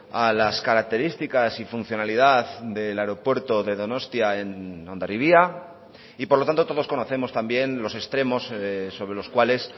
a las características y funcionalidad del aeropuerto de donostia en hondarribia y por lo tanto todos conocemos también los extremos sobre los cuales